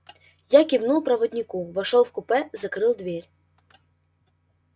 я кивнул проводнику вошёл в купе закрыл дверь